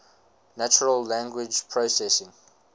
natural language processing